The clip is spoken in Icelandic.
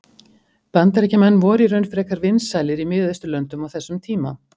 bandaríkjamenn voru í raun frekar vinsælir í miðausturlöndum á þessum tíma